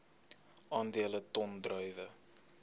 aandele ton druiwe